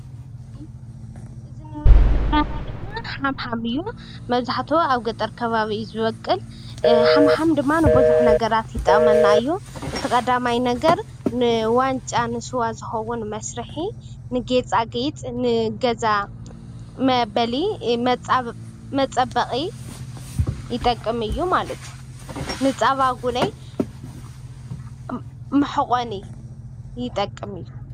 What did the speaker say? እዚ እንሪኦ ዘለና ድማ ሓምሓም እዩ መብዛሕቲኡ አብ ገጠር ከባቢ ዝወቅል ሓምሓም ድማ ንብዙሕ ነገራት ይጠቅመና እዩ፡፡ እቲ ቀዳማይ ነገር ንዋንጫ ንስዋ ዝኮውን መስርሒ ንጌፃጌፂ ንገዛ መፀበቂ ይጠቅም እዩ ማለት እየ ንፃባ እውነየ መሕቆኒ ይጠቅም እዩ ፡፡